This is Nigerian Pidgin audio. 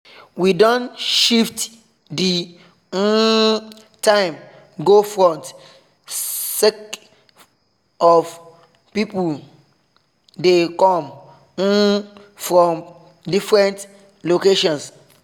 we don shift the um time go front sake of say people dey come um from different locations